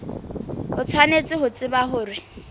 o tshwanetse ho tseba hore